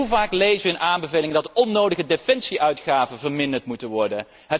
Hoe vaak lezen wij in aanbevelingen dat de onnodige defensie uitgaven verminderd moeten worden?